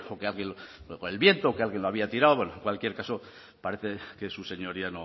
que por el viento o que alguien lo había tirado bueno en cualquier caso parece que su señoría